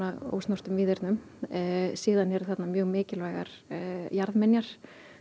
ósnortnum víðernum svo eru þarna mjög mikilvægar jarðminjar